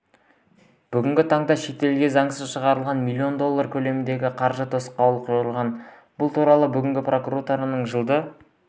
бүгінгі таңда шетелге заңсыз шығарылған миллион доллар көлемінде қаржыға тосқауыл қойылған бұл туралы бүгін прокуратураның жылды